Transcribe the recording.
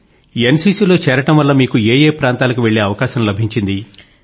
NCCలో చేరడం వల్ల మీకు ఏ ఏ ప్రాంతాలకు వెళ్ళే అవకాశం అభించింది